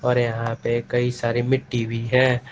और यहां पे कई सारे मिट्टी भी हैं।